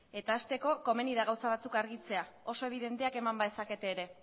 eta hasteko komeni da gauza batzuk argitzea oso ebidenteak eman badezakete ere